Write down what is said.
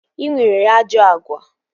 Ị nwere ajọ agwa